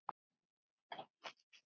Ég á það alveg skilið.